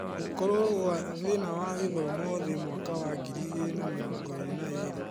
Gũkorwo gwa thĩna wa gĩthomo thĩ mwaka wa ngiri igĩrĩ na mĩrongo-ĩrĩ na ĩrĩ